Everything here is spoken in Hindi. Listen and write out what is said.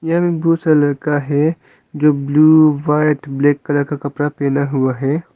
यह ब्लू लड़का है जो ब्लू व्हाइट ब्लैक कलर का कपड़ा पहना हुआ है।